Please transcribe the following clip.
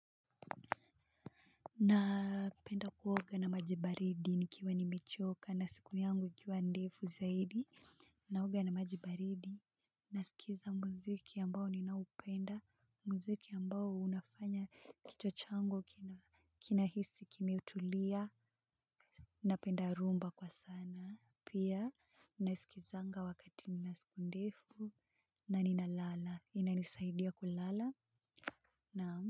Napenda kuoga na maji baridi nikiwa nimechoka na siku yangu ikiwa ndefu zaidi. Naoga na maji baridi nasikiza muziki ambao ninaoupenda muziki ambao unafanya kichwa changu kinahisi kimetulia. Napenda rhumba kwa sana pia nasikizanga wakati nina siku ndefu na ninalala inanisaidia kulala, naam.